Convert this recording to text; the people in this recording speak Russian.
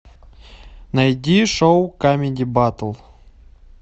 найди шоу камеди батл